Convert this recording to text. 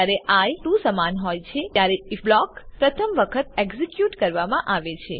જયારે આઇ 2 સમાન હોય છે ત્યારે આઇએફ બ્લોક પ્રથમ વખત એક્ઝીક્યુટ કરવામાં આવે છે